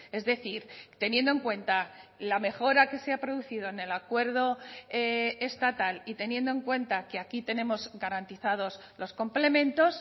es decir teniendo en cuenta la mejora que se ha producido en el acuerdo estatal y teniendo en cuenta que aquí tenemos garantizados los complementos